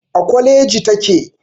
A kwaleji take.